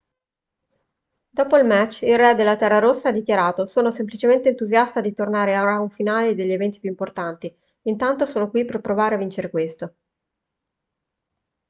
dopo il match il re della terra rossa ha dichiarato sono semplicemente entusiasta di tornare ai round finali degli eventi più importanti intanto sono qui per provare a vincere questo